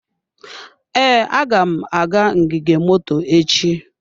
Ee, aga m aga ngige moto echi.